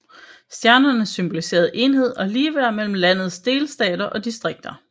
Stjernerne symboliserede enhed og ligeværd mellem landets delstater og distrikter